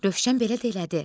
Rövşən belə də elədi.